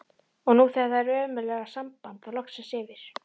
Og nú þegar það ömurlega samband var loksins yfir